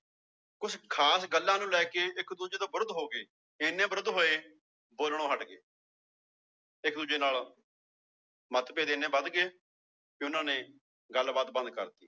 ਖ਼ਾਸ ਗੱਲਾਂ ਨੂੰ ਲੈ ਕੇ ਇੱਕ ਦੂਜੇ ਤੋਂ ਵਿਰੁੱਧ ਹੋ ਗਏ ਇੰਨੇ ਵਿਰੁੱਧ ਹੋਏ ਬੋਲਣੋ ਹਟ ਗਏ ਇੱਕ ਦੂਜੇ ਨਾਲ ਮੱਤਭੇਦ ਇੰਨੇ ਵੱਧ ਗਏ ਵੀ ਉਹਨਾਂ ਨੇ ਗੱਲਬਾਤ ਬੰਦ ਕਰ ਦਿੱਤੀ